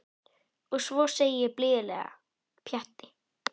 Og svo segi ég blíðlega: Pjatti.